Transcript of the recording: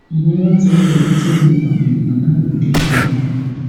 e never too clear wetin really happun and how e take happun